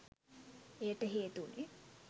එයට හේතු වුණේ